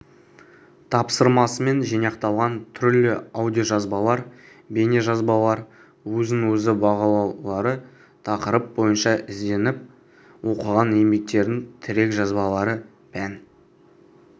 тапсырмасымен жинақталған түрлі аудиожазбалар бейнежазбалар өзін-өзі бағалаулары тақырып бойынша ізденіп оқыған еңбектердің тірек жазбалары пән